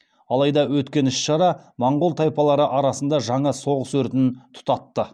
алайда өткен іс шара монғол тайпалары арасында жаңа соғыс өртін тұтатты